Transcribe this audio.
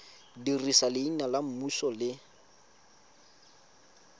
dirisa leina la semmuso le